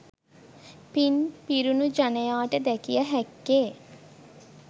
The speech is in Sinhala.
පින් පිරුණු ජනයාට දැකිය හැක්කේ